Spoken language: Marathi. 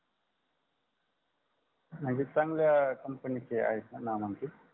म्हणजे चांगल्या company नीचे आहेत णा नामांकित